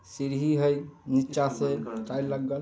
सीढ़ी है नीचा से छै लगल----